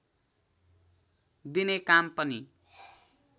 दिने काम पनि